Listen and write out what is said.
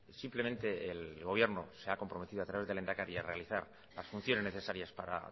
simplemente el gobierno se ha comprometido a través del lehendakari a realizar las funciones necesarias para